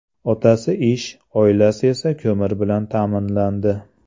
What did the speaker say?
Otasi ish, oilasi esa ko‘mir bilan ta’minlandi.